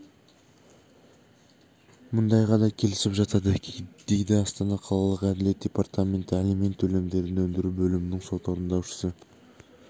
мұндайға да келісіп жатады дейді астана қалалық әділет департаменті алимент төлемдерін өндіру бөлімінің сот орындаушысы